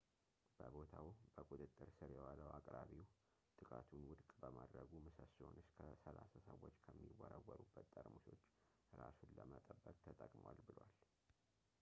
በቦታው በቁጥጥር ስር የዋለው አቅራቢው ጥቃቱን ውድቅ በማድረጉ ምሰሶውን እስከ ሰላሳ ሰዎች ከሚወረወሩበት ጠርሙሶች እራሱን ለመጠበቅ ተጠቅሟል ብሏል